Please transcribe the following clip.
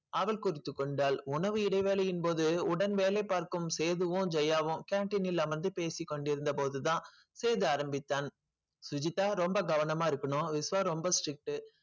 அவள் குறித்துக் கொண்டாள் உணவு இடைவேளையின் போது உடன் வேலை பார்க்கும் சேதுவும் ஜெயாவும் canteen ல் அமர்ந்து பேசிக் கொண்டிருந்த போதுதான் சேது ஆரம்பித்தான் சுஜிதா ரொம்ப கவனமா இருக்கணும் விஷ்வா ரொம்ப strict உ